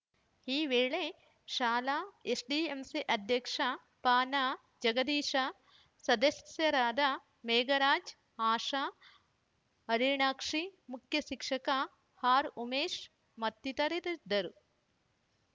ಈ ವೇಳೆ ಶಾಲಾ ಎಸ್‌ಡಿಎಂಸಿ ಅಧ್ಯಕ್ಷ ಪನಾಜಗದೀಶ ಸದಸ್ಯರಾದ ಮೇಘರಾಜ್‌ ಆಶಾ ಹರಿಣಾಕ್ಷಿ ಮುಖ್ಯಶಿಕ್ಷಕ ಆರ್‌ಉಮೇಶ್‌ ಮತ್ತಿತರರಿದ್ದರು